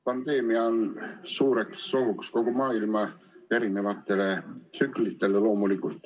Pandeemia on suureks ohuks kogu maailma erinevatele tsüklitele.